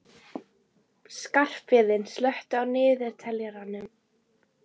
Skarphéðinn, slökktu á niðurteljaranum.